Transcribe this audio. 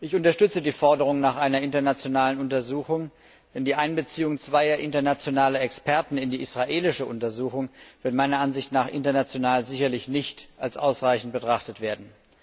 Ich unterstütze die Forderung nach einer internationalen Untersuchung, denn die Einbeziehung zweier internationaler Experten in die israelische Untersuchung wird meiner Ansicht nach international sicherlich nicht als ausreichend betrachtet werden.